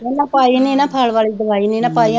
ਪਹਿਲਾ ਪਾਈ ਨਹੀਂ ਨਾ, ਖਲ ਵਾਲੀ ਦਵਾਈ ਨਹੀਂ ਨਾ ਪਾਈ